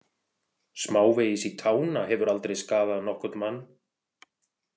Smávegis í tána hefur aldrei skaðað nokkurn mann.